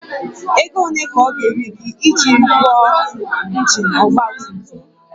Ego ole ka ọ ga-eri gị iji rụọ injin ọgba tum tum?